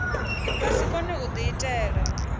vha si kone u diitela